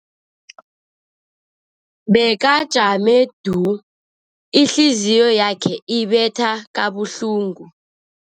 Bekajame du, ihliziyo yakhe ibetha kabuhlungu.